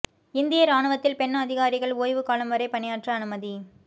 இந்திய இராணுவத்தில் பெண் அதிகாரிகள் ஓய்வுக் காலம் வரை பணியாற்ற அனுமதி